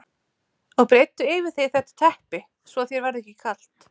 Og breiddu yfir þig þetta teppi svo að þér verði ekki kalt.